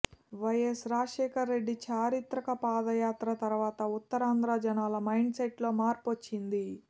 YS Rajasekhara Reddy చారిత్రక పాదయాత్ర తర్వాత ఉత్తరాంధ్ర జనాల మైండ్ సెట్ లో మార్పొచ్చింది